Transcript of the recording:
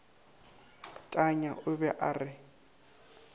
tanya o be a re